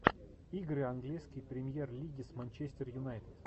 игры английской премьер лиги с манчестер юнайтед